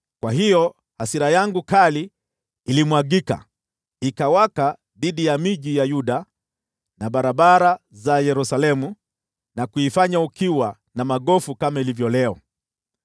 Kwa hiyo hasira yangu kali ilimwagika, ikawaka dhidi ya miji ya Yuda na barabara za Yerusalemu, na kuifanya ukiwa na magofu kama ilivyo leo.